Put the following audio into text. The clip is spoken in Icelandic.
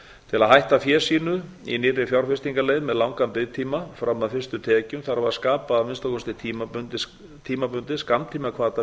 til að hætta fé sínu í nýrri fjárfestingarleið með langan biðtíma fram að fyrstu tekjum þarf að skapa að minnsta kosti tímabundið skammtímahvata